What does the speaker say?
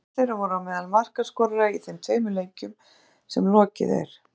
Tveir þeirra voru á meðal markaskorara í þeim tveimur leikjum sem lokið er.